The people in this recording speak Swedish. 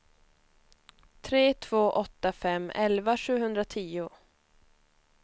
tre två åtta fem elva sjuhundratio